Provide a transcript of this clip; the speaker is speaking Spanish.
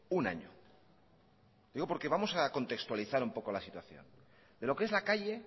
un año lo digo porque vamos a contextualizar un poco la situación de lo que es la calle